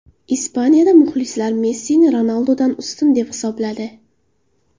Ispaniyada muxlislar Messini Ronaldudan ustun deb hisobladi.